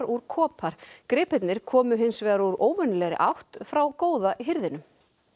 úr kopar gripirnir komu hins vegar úr óvenjulegri átt frá góða hirðinum